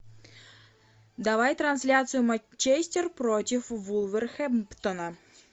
давай трансляцию манчестер против вулверхэмптона